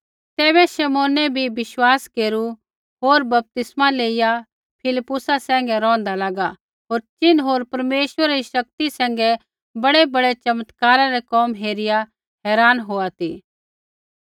तैबै शमौनै बी विश्वास केरू होर बपतिस्मै लेइआ फिलिप्पुसा सैंघै रौंहदा लागा होर चिन्ह होर परमेश्वरै री शक्ति सैंघै बड़ैबड़ै चमत्कारा रै कोम हेरिआ हैरान होआ ती